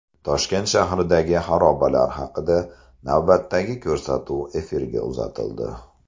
Toshkent shahridagi xarobalar haqida navbatdagi ko‘rsatuv efirga uzatildi.